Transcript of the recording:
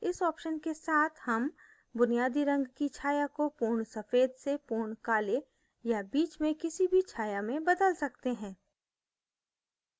इस option के साथ हम बुनियादी रंग की छाया को pure सफेद से pure काले या बीच में किसी भी छाया में बदल सकते हैं